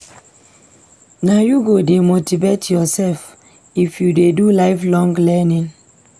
Na you go dey motivate yoursef if you dey do lifelong learning.